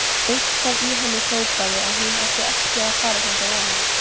Eitthvað í henni hrópaði að hún ætti ekki að fara þangað ofan í.